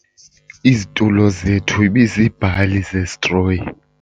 Izitulo zethu ibiziibhali zesitroyi.